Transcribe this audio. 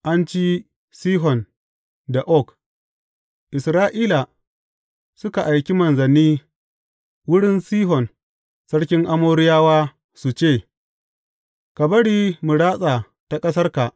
An ci Sihon da Og Isra’ila suka aiki manzanni wurin Sihon sarkin Amoriyawa su ce, Ka bari mu ratsa ta ƙasarka.